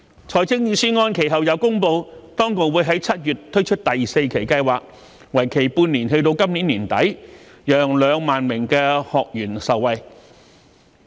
財政預算案其後又公布，當局會於7月推出第四期計劃，為期半年至今年年底，讓2萬名學員受惠。